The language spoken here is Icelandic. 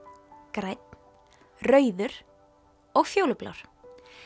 grænn rauður og fjólublár